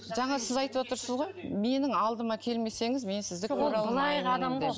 жаңа сіз айтып отырсыз ғой менің алдыма келмесеңіз мен сізді көре алмаймын деп